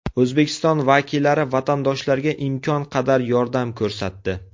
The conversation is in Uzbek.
O‘zbekiston vakillari vatandoshlarga imkon qadar yordam ko‘rsatdi.